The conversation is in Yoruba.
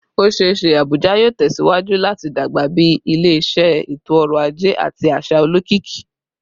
O ṣee ṣe Abuja yoo tẹsiwaju lati dagba bi ile-iṣẹ eto-ọrọ aje ati aṣa olokiki